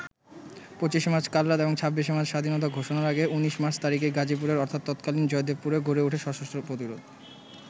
২৫ March কালরাত এবং ২৬ March স্বাধীনতা ঘোষণার আগে ১৯ মার্চ তারিখেই গাজীপুরের অর্থাৎ তৎকালীন জয়দেবপুরে গড়ে ওঠে সশস্ত্র প্রতিরোধ।